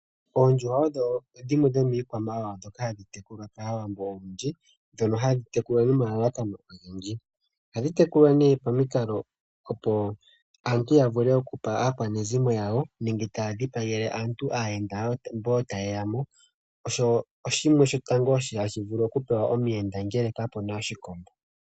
Oondjuhwa odho dhimwe dhomiikwamawawa ndhoka hadhi tekulwa kaawambo olundji, ndhono hadhi tekulwa nomalalakano ogendji. ohadhi tekulwa pamikalo opo aantu yavule okupa aakwanezimo yawo nenge taadhipagele aantu aayenda mbo tayeyamo, osho oshiima shotango hashi vulu okupewa omuyenda ngele kapena oshikombo.